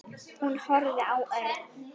Hún horfði á Örn.